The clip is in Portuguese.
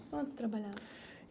Onde você trabalhava?